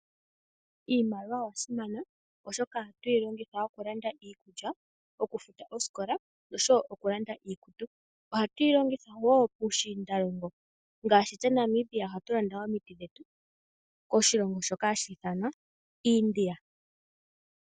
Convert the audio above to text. Iimaliwa oyasimana oshoka ohatu yi longitha okulanda iikulya, okufuta oosikola oshowo okulanda iikulya. Ohatu yi longitha wo puushiindalongo ngaashi, tse Namibia ohatu landa omiti dhetu koshilongo shoka hashi ithanwa India.